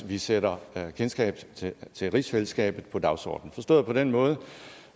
vi sætter kendskab til til rigsfællesskabet på dagsordenen forstået på den måde